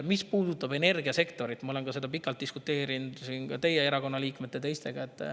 Mis puudutab energiasektorit, siis ma olen selle üle pikalt diskuteerinud siin teie erakonna liikmetega ja ka teistega.